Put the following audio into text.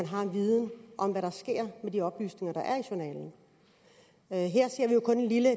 har en viden om hvad der sker med de oplysninger der er i journalen her ser vi jo kun en lille